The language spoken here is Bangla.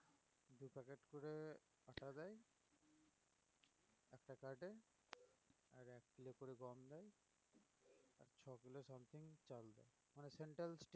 Central stay~